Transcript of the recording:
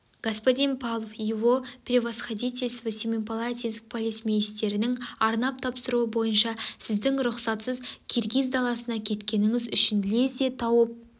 господин павлов его превосходительство семипалатинск полицмейстерінің арнап тапсыруы бойынша сізді рұқсатсыз киргиз даласына кеткеніңіз үшін лезде тауып